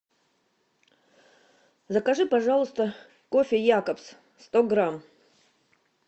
закажи пожалуйста кофе якобс сто грамм